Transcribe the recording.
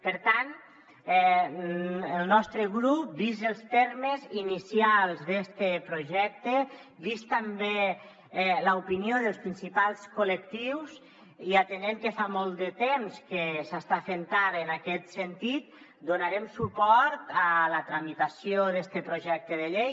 per tant el nostre grup vistos els termes inicials d’este projecte vista també l’opinió dels principals col·lectius i atenent que fa molt de temps que s’està fent tard en aquest sentit donarem suport a la tramitació d’este projecte de llei